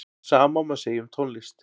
Sama má segja um tónlist.